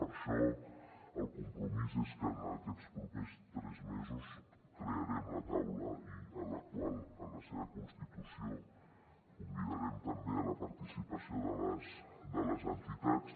per això el compromís és que en aquests propers tres mesos crearem la taula i a la qual en la seva constitució convidarem també a la participació les entitats